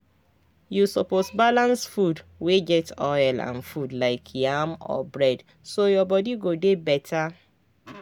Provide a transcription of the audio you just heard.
you suppose balance food wey get oil and food like yam or bread so your body go dey better.